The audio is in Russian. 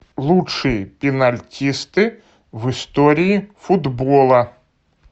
лучшие пенальтисты в истории футбола